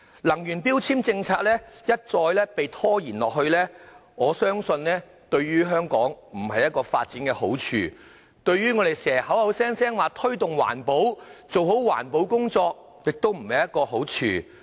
能源標籤政策一再被拖延，我相信對於香港的發展並無好處，對推動環保亦無好處。